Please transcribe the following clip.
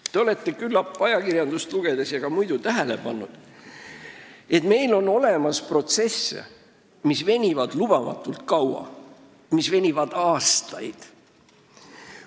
Küllap te olete ajakirjanduses ja ka muidu tähele pannud, et meil on protsesse, mis venivad lubamatult kaua – aastaid!